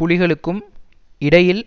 புலிகளுக்கும் இடையில்